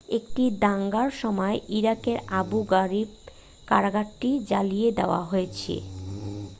একটি দাঙ্গার সময় ইরাকের আবু গারিব কারাগারটি জ্বালিয়ে দেয়া হয়েছে